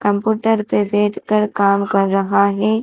Computer पे बैठकर काम कर रहा है।